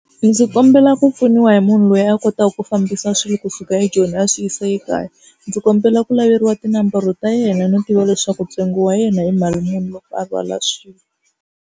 Ndzi kombela ku pfuniwa hi munhu loyi a kotaka ku fambisa swilo kusuka eJoni a swi yisa ekaya. Ndzi kombela ku laveliwa tinambara ta yena no tiva leswaku ntsengo wa yena hi mali muni loko a rhwala swilo.